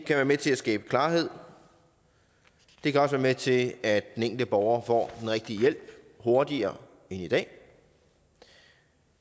være med til at skabe klarhed og det kan også være med til at den enkelte borger får den rigtige hjælp hurtigere end i dag